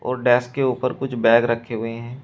और डेस्क के ऊपर कुछ बैग रखे हुए हैं।